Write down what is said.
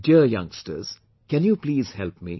Dear youngsters, can you please help me